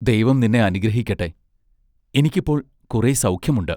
ദൈവം നിന്നെ അനുഗ്രഹിക്കട്ടെ. എനിക്കിപ്പോൾ കുറെ സൗഖ്യമുണ്ട്.